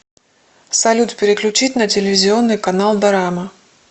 салют переключить на телевизионный канал дорама